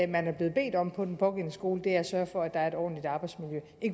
man er blevet bedt om på den pågældende skole er at sørge for at der er et ordentligt arbejdsmiljø